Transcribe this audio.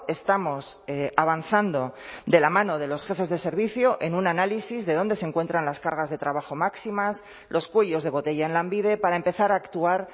estamos avanzando de la mano de los jefes de servicio en un análisis de dónde se encuentran las cargas de trabajo máximas los cuellos de botella en lanbide para empezar a actuar